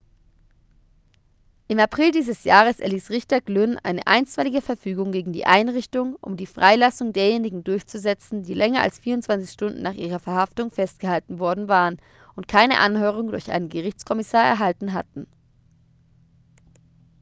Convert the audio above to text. im april dieses jahres erließ richter glynn eine einstweilige verfügung gegen die einrichtung um die freilassung derjenigen durchzusetzen die länger als 24 stunden nach ihrer verhaftung festgehalten worden waren und keine anhörung durch einen gerichtskommissar erhalten hatten